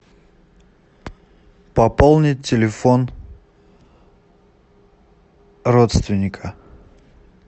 пополнить телефон родственника